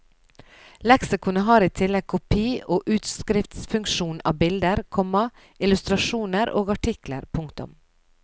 Leksikonet har i tillegg kopi og utskriftsfunksjon av bilder, komma illustrasjoner og artikler. punktum